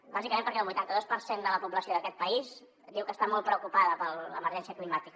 bàsicament perquè el vuitanta dos per cent de la població d’aquest país diu que està molt preocupada per l’emergència climàtica